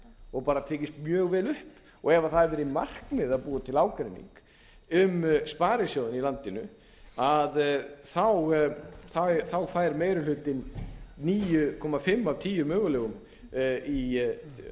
og bara tekist mjög vel upp ef það hefur verið markmið að búa til ágreining um sparisjóðina í landinu fær meiri hlutinn níu komma fimm af tíu mögulegum í